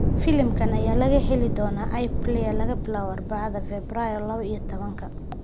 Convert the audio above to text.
Filimkan ayaa laga heli doonaa iPlayer laga bilaabo Arbacada, Febraayo labo iyo tabanka.